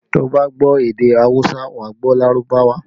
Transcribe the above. Tí o bá gbọ́ èdè awusa, wà á gbọ́ Lárúbáwá